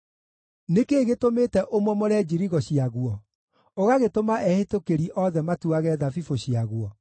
Nĩ kĩĩ gĩtũmĩte ũmomore njirigo ciaguo, ũgagĩtũma ehĩtũkĩri othe matuage thabibũ ciaguo?